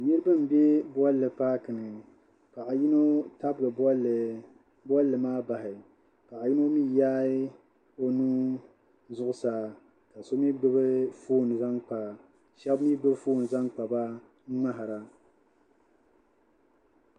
Niriba m-be bolli paaki ni paɣ'yino tabigi bolli maa Bahi paɣ'yino mi yaai o nuu zuɣ'saa ka shɛba mi gbubi foon zaŋ kpa ba m-ŋmahira